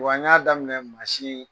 Wa n ɲa daminɛ